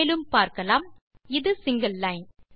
மேலும் பார்க்கலாம் இது சிங்கில் லைன்